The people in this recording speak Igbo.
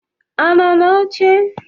Ọ nọ n'oche?